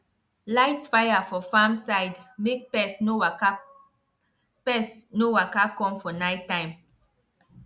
light fire for farm side make pest no waka pest no waka come for night time